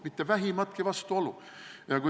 Mitte vähimatki vastuolu!